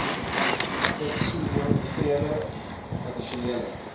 subbasisboumateriaal b addisionele